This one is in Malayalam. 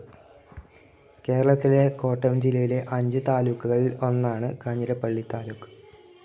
കേരളത്തിലെ കോട്ടയം ജില്ലയിലെ അഞ്ചു താലൂക്കുകളിൽ ഒന്നാണ് കാഞ്ഞിരപ്പള്ളി താലൂക്ക്.